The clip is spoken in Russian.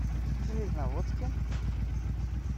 железноводске